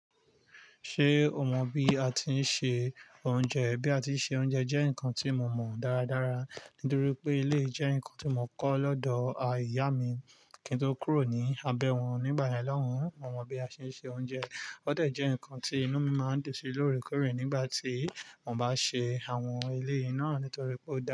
Ṣé o mọ bí a ti ń se oúnjẹ? Bí a ti ń se oúnjẹ jẹ́ nǹkan tí mo mọ daradara nítorí pé eléyìí jẹ́ nǹkan tí mo kọ́ lọ́dọ̀ à ìyà mi kí n tó kúrò ní abẹ́ wọn. Nígbà yẹn l'òun, mo mọ bí a ṣe ń se oúnjẹ. Ó dà jẹ́ ǹkan tí inú mi máa ń dẹ̀ sí lóòrèkóòrè nígbà tí mo bá ṣe àwọn eléyìí iná, nítorí pé ó dára.